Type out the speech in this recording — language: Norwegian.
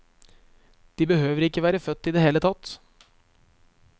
De behøver ikke være født i det hele tatt.